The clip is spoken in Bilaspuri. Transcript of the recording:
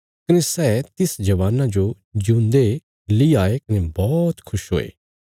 कने सै तिस जवाना जो ज्यूंदे ली आये कने बौहत खुश हुये